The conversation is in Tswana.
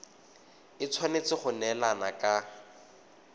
e tshwanetse go neelana ka